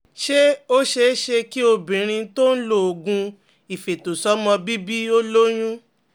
Ṣé ó ṣeé ṣe kí obìnrin tó ń ń lo oògùn ifeto somo bìbí ó lóyún?